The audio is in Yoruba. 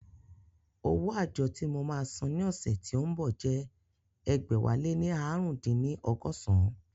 Owó àjọ tí mo máa san ní ọ̀sẹ̀ tí ó ń bọ̀ jẹ́ ẹgbẹ̀wáléní ààrùndínní ọgọ́san